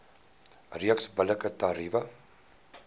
reeks billike tariewe